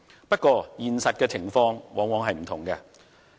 不過，現實情況往往是不同的。